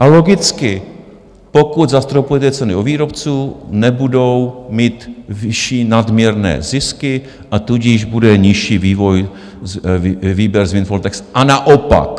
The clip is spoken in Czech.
A logicky, pokud zastropujete ceny u výrobců, nebudou mít vyšší nadměrné zisky, a tudíž bude nižší výběr z windfall tax a naopak.